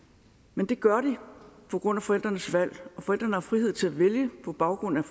men det gør de på grund af forældrenes valg forældrene har frihed til at vælge på baggrund